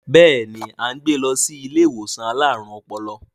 Béèni a n gbè lo sí ilé àwọn alarun ọpọlọ